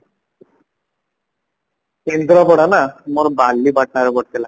କେନ୍ଦ୍ରପଡା ନା ମୋର ବାଲିପାଟଣାରେ ପଡିଥିଲା